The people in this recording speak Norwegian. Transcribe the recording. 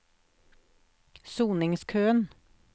soningskøen